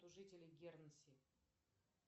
жителей гернси